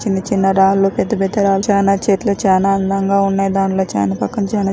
చిన్న చిన్న రాళ్ళు పెద్ద పెద్ద రాళ్ళు చాన చెట్లు చాన అందంగా ఉన్నాయి దాంట్లో చాన పక్కన చాన --